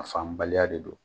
A faamubaliya de don.